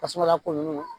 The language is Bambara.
Tasuma lakoɲuman